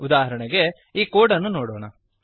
ಉದಾಹರಣೆಗೆ ಈ ಕೋಡ್ ಅನ್ನು ನೋಡೋಣ